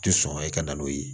Ti sɔn ka na n'o ye